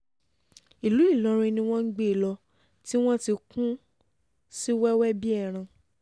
ìlú ìlọrin ni wọ́n gbé e lọ tí wọ́n ti kùn ún sí wẹ́wẹ́ bíi ẹran